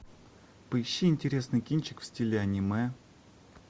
поищи интересный кинчик в стиле аниме